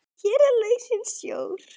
Hér er lausnin sjór.